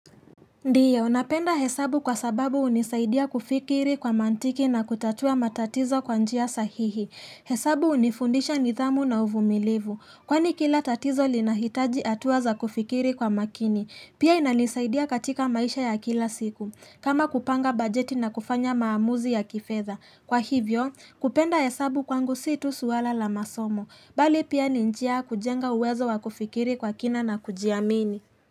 Ndio, napenda hesabu kwa sababu hunisaidia kufikiri kwa mantiki na kutatua matatizo kwa njia sahihi. Hesabu unifundisha nithamu na uvumilivu. Kwani kila tatizo lina hitaji hatua za kufikiri kwa makini. Pia inanisaidia katika maisha ya kila siku. Kama kupanga bajeti na kufanya maamuzi ya kifedha. Kwa hivyo, kupenda hesabu kwangu situ suala la masomo. Bali pia ninjia kujenga uwezo wa kufikiri kwa kina na kujiamini.